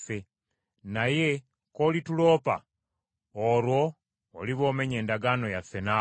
Naye k’olituloopa, olwo oliba omenye endagaano yaffe naawe.”